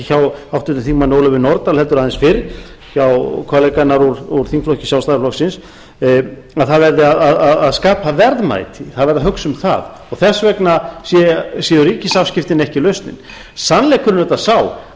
hjá háttvirtum þingmanni ólöfu nordal heldur aðeins fyrr hjá kollega hennar úr þingflokki sjálfstæðisflokksins að það verði að skapa verðmæti það verði að hugsa um það og þess vegna séu ríkisafskiptin ekki lausnin sannleikurinn er auðvitað sá að